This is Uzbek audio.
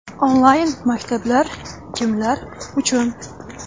Onlayn-maktab kimlar uchun?